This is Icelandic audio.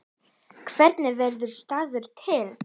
Hvernig verður staður til?